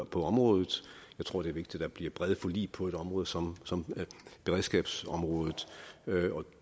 på området jeg tror det er vigtigt at der bliver brede forlig på et område som som beredskabsområdet